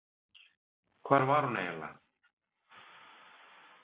Hvar var hún eiginlega?